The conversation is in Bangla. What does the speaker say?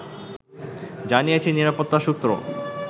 জানিয়েছে নিরাপত্তা সূত্র